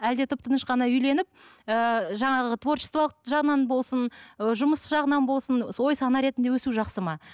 әлде тып тыныш қана үйленіп ііі жаңағы творчестволық жағынан болсын ы жұмыс жағынан болсын ой сана ретінде өсу жақсы ма